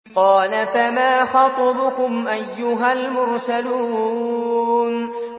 ۞ قَالَ فَمَا خَطْبُكُمْ أَيُّهَا الْمُرْسَلُونَ